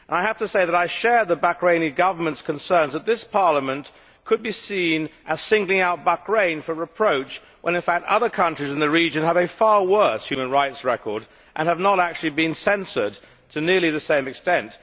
I have to say that I share the Bahraini Government's concerns that this Parliament could be seen as singling out Bahrain for reproach when in fact other countries in the region have a far worse human rights record and have not actually been censured to nearly the same extent.